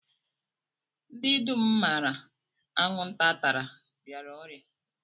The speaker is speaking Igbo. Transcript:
Ndị dum m maara anwụnta tara rịara ọrịa